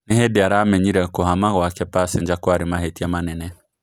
Nĩ hĩndĩ aramenyire kũhama kwake Pasenga kwarĩ mahĩtia manene.